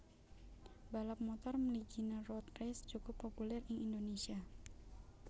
Balap motor mliginé road race cukup populèr ing Indonésia